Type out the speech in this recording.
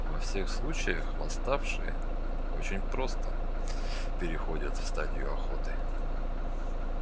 во всех случаях восставшие очень просто переходят в стадию охоты